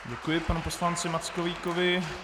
Děkuji panu poslanci Mackovíkovi.